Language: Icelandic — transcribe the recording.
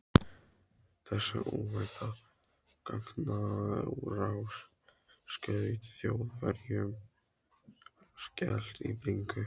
Þessi óvænta gagnárás skaut Þjóðverjunum skelk í bringu.